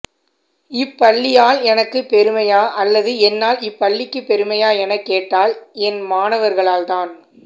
இப்பள்ளியால் எனக்குப் பெருமையா அல்லது என்னால் இப்பள்ளிக்குப் பெருமையா எனக் கேட்டால் என் மாணவர்களால்தான்